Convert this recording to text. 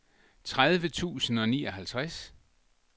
tredive tusind og nioghalvtreds